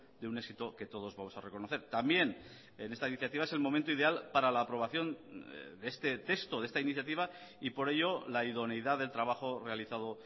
de un éxito que todos vamos a reconocer también en esta iniciativa es el momento ideal para la aprobación de este texto de esta iniciativa y por ello la idoneidad del trabajo realizado